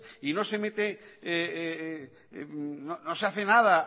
y no se hace nada